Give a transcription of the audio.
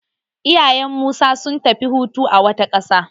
Iyayen su Musa sun tafi hutu a wata ƙasa.